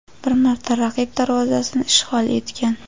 bir marta raqib darvozasini ishg‘ol etgan.